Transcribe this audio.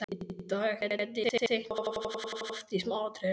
Í dag gæti ég teiknað þetta loft í smáatriðum.